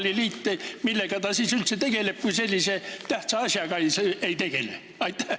Millega korvpalliliit siis üldse tegeleb, kui ta sellise tähtsa asjaga ei tegele?